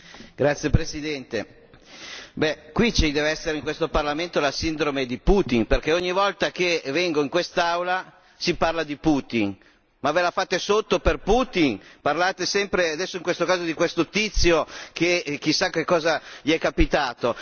Signor Presidente, onorevoli colleghi, qui ci deve essere, in questo Parlamento, la sindrome di Putin perché ogni volta che vengo in quest'Aula si parla di Putin, ma ve la fate sotto per Putin? Parlate sempre adesso in questo caso di questo tizio che chissà che cosa gli è capitato?